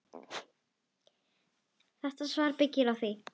Þetta svar byggir á því.